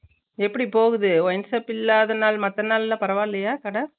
எப்புடி போகுது wineshop இல்லாத நாள் மத்த நாள்ல பரவால்லையா கடை